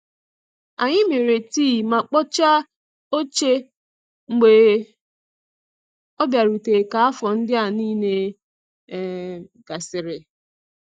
Anyị mere tii ma kpochaa oche mgbe ọ bịarutere ka afọ ndịa niile um gasịrị.